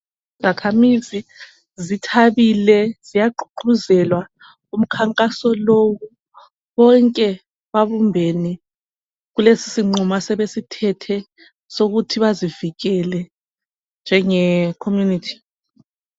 Izakhamizi zithabile ziyagqugquzela umkhankaso lowu, bonke babumbene kulesisinqumo yokuthi bezivikele njengekhomunithi